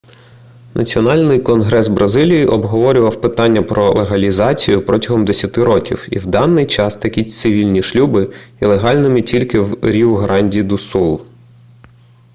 національний конгрес бразилії обговорював питання про легалізацію протягом 10 років і в даний час такі цивільні шлюби є легальними тільки в ріу-гранді-ду-сул